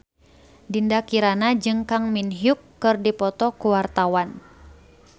Dinda Kirana jeung Kang Min Hyuk keur dipoto ku wartawan